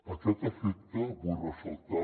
a aquest efecte vull ressaltar